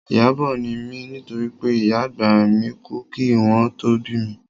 Ìyábọ̀ ni mí nítorí pé ìyá àgbà mi kú kí wọn tó bí mi